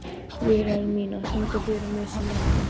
Vilhelmína, syngdu fyrir mig „Syneta“.